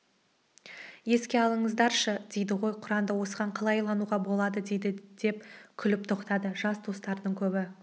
еске алыңыздаршы дейді ғой құранда осыған қалай илануға болады дейді деп күліп тоқтады жас достардың көбі